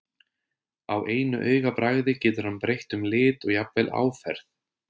Á einu augabragði getur hann breytt um lit og jafnvel áferð.